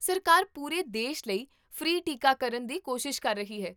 ਸਰਕਾਰ ਪੂਰੇ ਦੇਸ਼ ਲਈ ਫ੍ਰੀ ਟੀਕਾਕਰਨ ਦੀ ਕੋਸ਼ਿਸ਼ ਕਰ ਰਹੀ ਹੈ